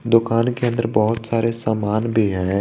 दुकान के अंदर बहुत सारे सामान भी हैं।